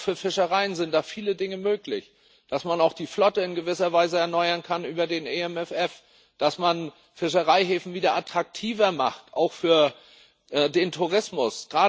Auch für Fischereien sind da viele Dinge möglich dass man auch die Flotte in gewisser Weise erneuern kann über den EMFF, dass man Fischereihäfen wieder attraktiver macht auch für den Tourismus.